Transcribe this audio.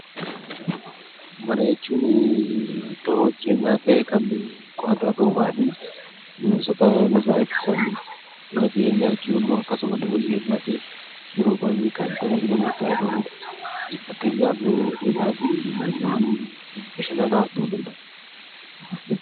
Mana jechuun dahoo jireenyaa ta'ee qorra nurraa eegsisu, bineensota nurraa eegsisa, mana jireenyaa jechuun immoo akkasuma iddoo jireenyaa ta'ee, yeroo baayyee kan tajaajila murtaa'eef ooludha. Fakkeenyaaf bu'uuraalee bashannanaaf ta'uu danda'a.